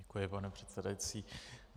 Děkuji, pane předsedající.